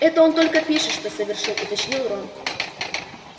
это он только пишет что совершил уточнил рон